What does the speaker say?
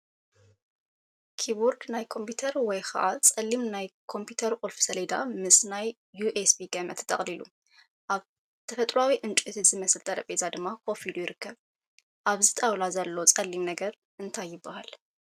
ኪቦርድ ናይ ኮምፒተር ወይ ከዓ ጸሊም ናይ ኮምፒተር ቁልፊ ሰሌዳ ምስ ናይ ዩኤስቢ ገመድ ተጠቕሊሉ፡ ኣብ ተፈጥሮኣዊ ዕንጨይቲ ዝመስል ጠረጴዛ ድማ ኮፍ ኢሉ ይርከብ። ኣብዚ ጣውላ ዘሎ ጸሊም ነገር እንታይ ይበሃል?